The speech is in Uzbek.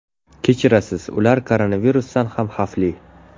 Kechirasiz, ular koronavirusdan ham xavfli.